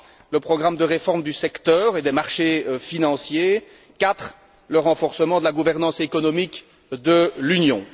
le programme de réforme du secteur et des marchés financiers, 4 le renforcement de la gouvernance économique de l'Union.